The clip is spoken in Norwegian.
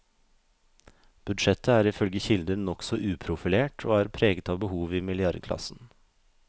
Budsjettet er ifølge kilder nokså uprofilert, og er preget av behov i milliardklassen.